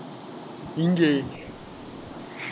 இங்கே